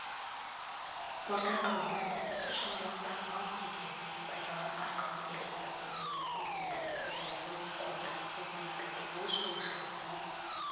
бордақыланады осы шаруашылықта мал тезегін пайдалану арқылы электр энергиясын өндіретін биогаз қондырғысы орнатылды ол шаруашылықтың